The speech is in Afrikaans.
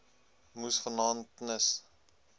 moes vanaand knus